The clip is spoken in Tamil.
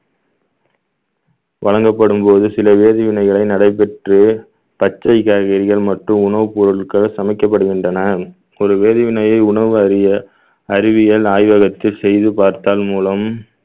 வழங்கப்படும்போது சில வேதிவினைகளை நடைபெற்று பச்சை காய்கறிகள் மற்றும் உணவுப் பொருட்கள் சமைக்கப்படுகின்றன ஒரு வேதிவினையை உணவு அறிய அறிவியல் ஆய்வகத்தில் செய்து பார்த்தல் மூலம்